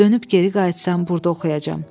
Dönüb geri qayıtsam, burda oxuyacam.